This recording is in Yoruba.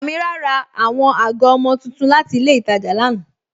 Amina ra awọn agọ ọmọ tuntun láti ilẹ̀ Ìtàjà lánà.